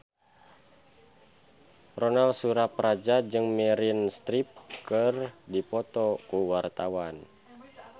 Ronal Surapradja jeung Meryl Streep keur dipoto ku wartawan